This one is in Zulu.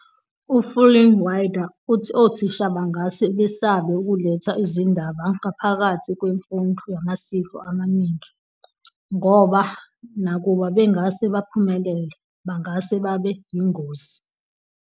U-Fullinwider uthi othisha bangase besabe ukuletha izindaba ngaphakathi kwemfundo yamasiko amaningi, ngoba nakuba bengase baphumelele, bangase babe yingozi.